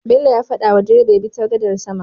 Bello ya fada wa direba yabi ta gadar sama